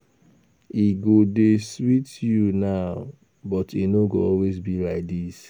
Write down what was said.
E go dey sweet you now but e no go always be like dis